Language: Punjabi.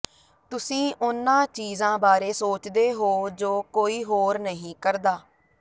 ਤੁਸੀਂ ਉਨ੍ਹਾਂ ਚੀਜ਼ਾਂ ਬਾਰੇ ਸੋਚਦੇ ਹੋ ਜੋ ਕੋਈ ਹੋਰ ਨਹੀਂ ਕਰਦਾ